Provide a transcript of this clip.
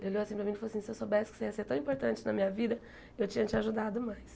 Ele olhou assim para mim e falou assim, se eu soubesse que você ia ser tão importante na minha vida, eu tinha te ajudado mais.